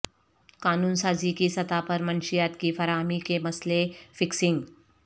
قانون سازی کی سطح پر منشیات کی فراہمی کے مسئلہ فکسنگ